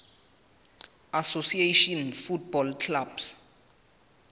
association football clubs